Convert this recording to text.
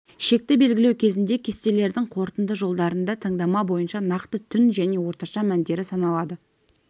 шекті белгілеу кезінде кестелердің қорытынды жолдарында таңдама бойынша нақты түн және орташа мәндері саналады